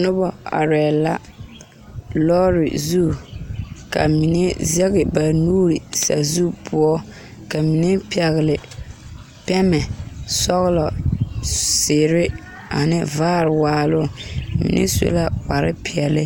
Noba arɛɛ la lɔɔre zu ka mine sege babuure sazu poɔ ka mine meŋ pɛhle pɛmɛ sɔgelɔ zeere ane vaare waaloŋ mime su kpar peɛle